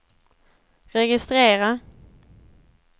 registrera